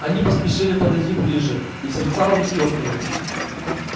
они поспешили подойди ближе и сердца у них ёкнули